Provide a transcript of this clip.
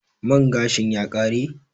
Man gashin ya kare?